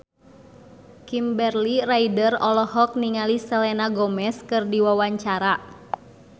Kimberly Ryder olohok ningali Selena Gomez keur diwawancara